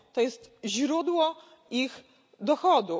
To jest źródło ich dochodu.